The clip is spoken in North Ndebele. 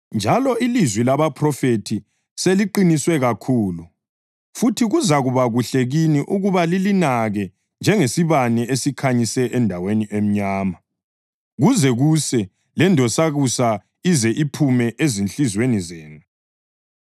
Njalo ilizwi labaphrofethi seliqiniswe kakhulu, futhi kuzakuba kuhle kini ukuba lilinake njengesibane esikhanyise endaweni emnyama, kuze kuse lendonsakusa ize iphume ezinhliziyweni zenu.